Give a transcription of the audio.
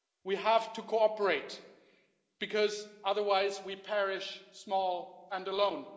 We have to cooperate because otherwise we perish, small and alone.